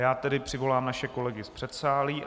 Já tedy přivolám naše kolegy z předsálí.